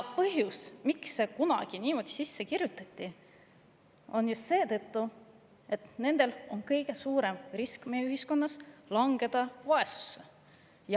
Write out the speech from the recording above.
Põhjus, miks see kunagi sisse kirjutati, on see, et just nendel on meie ühiskonnas kõige suurem risk langeda vaesusesse.